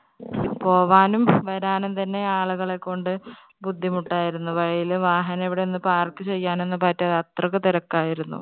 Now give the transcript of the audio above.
പോവാനും വരാനും തന്നെ ആളുകളെ കൊണ്ട് ബുദ്ധിമുട്ട് ആയിരുന്നു. വഴിയില് വാഹനം എവിടെയും ഒന്നും park ചെയ്യാനും പറ്റാതെ അത്രയ്ക്ക് തിരക്കായിരുന്നു.